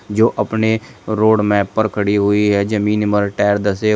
जो अपने road map पर खड़ी हुई है जमीन मर टायर धसे--